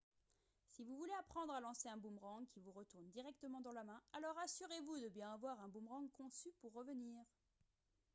si vous voulez apprendre à lancer un boomerang qui vous retourne directement dans la main alors assurez-vous de bien avoir un boomerang conçu pour revenir